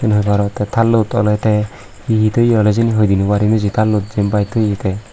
eyen hoi paro te tallot oley te he he toye oley siyeni hoi di noarim isi tallot jiyenpai toye te.